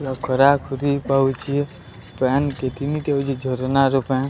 ଲୋକରା ଖୁରୀପ ହଉଚି ପାନ ପୀକିନିକ ହଉଚି। ଝରଣାର ପାଣି --